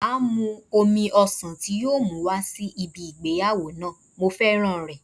Máa mú omi ọsàn tí yóò mú wá sí ibi ìgbéyàwó náà, mo féràn rẹ̀.